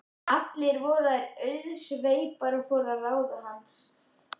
Allar voru þær auðsveipar og fóru að ráðum hans.